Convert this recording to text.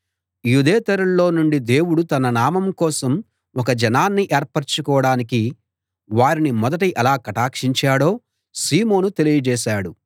యూదేతరుల్లో నుండి దేవుడు తన నామం కోసం ఒక జనాన్ని ఏర్పరచుకోడానికి వారిని మొదట ఎలా కటాక్షించాడో సీమోను తెలియజేశాడు